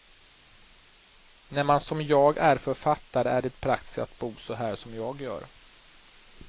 När man som jag är författare är det praktiskt att bo så här som jag gör.